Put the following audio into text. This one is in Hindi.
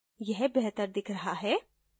यह बेहतर दिख रहा है